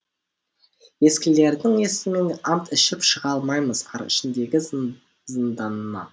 ескілердің есімін ант ішіп шыға алмаймыз ар ішіндегі зынданнан